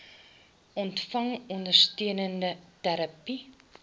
ontvang ondersteunende terapie